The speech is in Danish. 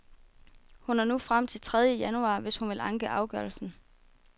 Hun har nu frem til tredje januar, hvis hun vil anke afgørelsen.